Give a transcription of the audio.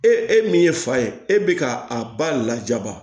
E e e min ye fa ye e bɛ ka a ba lajaba